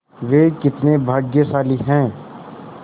वे कितने भाग्यशाली हैं